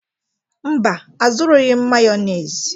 Mba, azụrụghị m Mayonezi.